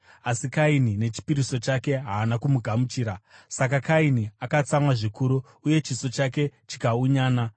asi Kaini nechipiriso chake haana kumugamuchira. Saka Kaini akatsamwa zvikuru, uye chiso chake chikaunyana.